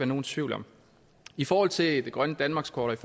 nogen tvivl om i forhold til det grønne danmarkskort